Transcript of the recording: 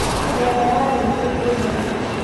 Mĩena ya Limuru kwĩ heho.